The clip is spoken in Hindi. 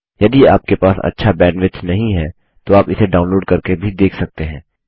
यदि आपके पास अच्छा बैंडविड्थ नहीं है तो आप इसे डाउनलोड़ करके भी देख सकते हैं